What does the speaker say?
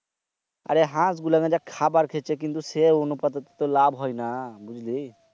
আরে হাঁস গুলান যে খাবার খাচ্চে কিন্তু সে অনুপাতেতো লাভ হয়না। বুঝলি?